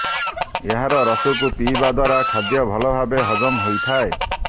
ଏହାର ରସକୁ ପିଇବା ଦ୍ୱାରା ଖାଦ୍ୟ ଭଲ ଭାବେ ହଜମ ହୋଇଥାଏ